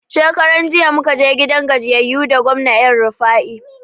Shekaran jiya muka je gidan gajiyayu da gwamna elrufai